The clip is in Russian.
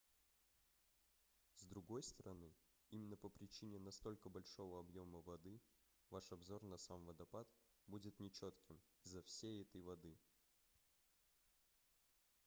с другой стороны именно по причине настолько большого объёма воды ваш обзор на сам водопад будет нечётким из-за всей этой воды